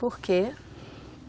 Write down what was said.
Por quê?